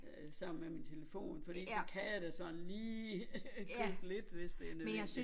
Øh sammen med min telefon fordi så kan jeg da sådan lige købe lidt hvis det nødvendigt